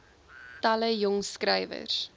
talle jong skrywers